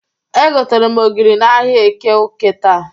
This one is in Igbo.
Egotere m ogiri n'ahịa Eke Uke taa.